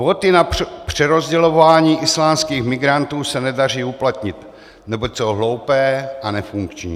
Kvóty na přerozdělování islámských migrantů se nedaří uplatnit, neboť jsou hloupé a nefunkční.